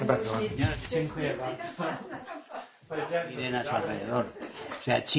China ha paralizado las economías de todo el mundo, salvo la suya, por supuesto.